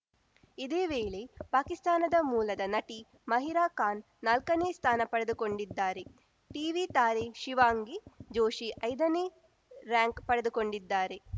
ಇದೇ ವೇಳೆ ಪಾಕಿಸ್ತಾನದ ಮೂಲದ ನಟಿ ಮಹಿರಾ ಖಾನ್‌ ನಾಲ್ಕನೇ ಸ್ಥಾನ ಪಡೆದುಕೊಂಡಿದ್ದಾರೆ ಟೀವಿ ತಾರೆ ಶಿವಾಂಗಿ ಜೋಶಿ ಐದನೇ ರಾರ‍ಯಂಕ್‌ ಪಡೆದುಕೊಂಡಿದ್ದಾರೆ